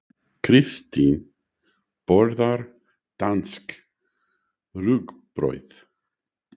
Kristín borðar danskt rúgbrauð.